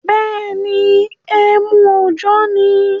Bẹ́ẹ̀ni, emu òjọ́ ni.